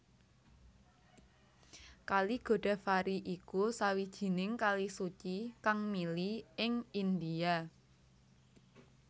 Kali Godavari iku sawijining kali suci kang mili ing India